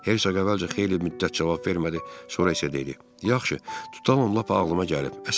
Hersoq əvvəlcə xeyli müddət cavab vermədi, sonra isə dedi: Yaxşı, tutalım lap ağılıma gəlib.